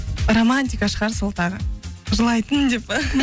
романтика шығар сол тағы жылайтын деп па